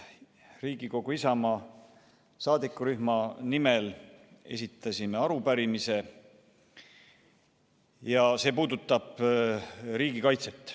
Riigikogu Isamaa saadikurühma nimel esitasime arupärimise, mis puudutab riigikaitset.